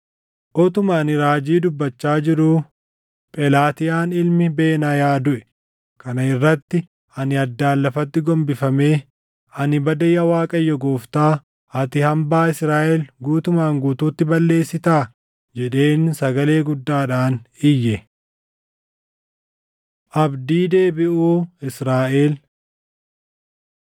Utuma ani raajii dubbachaa jiruu Phelaatiyaan ilmi Benaayaa duʼe. Kana irratti ani addaan lafatti gombifamee, “Ani bade yaa Waaqayyo Gooftaa! Ati hambaa Israaʼel guutumaan guutuutti balleessitaa?” jedheen sagalee guddaadhaan iyye. Abdii Deebiʼuu Israaʼel